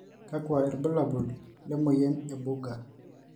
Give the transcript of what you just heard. kakua irbulabol le moyian e Buerger?